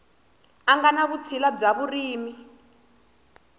nga ni vutshila bya vurimi